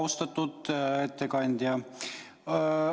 Austatud ettekandja!